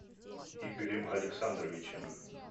игорем александровичем